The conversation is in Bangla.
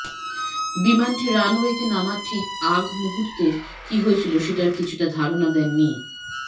বিমানটি রানওয়েতে নামার ঠিক আগ মুহূর্তের কি হয়েছিল সেটার কিছুটা ধারণা দেন মি